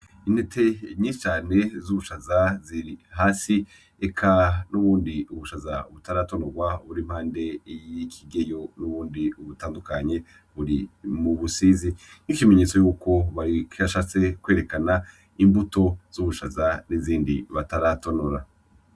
Intete nyinshi cane z'ubushaza ziri hasi, eka nubundi ni ubushaza butaratonorwa buri impande y'ikigeyo nubundi butandukanye buri mu busizi nk'ikimenyetso yuko bari bashatse kwerekana imbuto z'ubushaza nizindi bataratonora.